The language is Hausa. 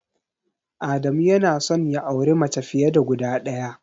Adamu yana son ya auri mace fiye da guda ɗaya.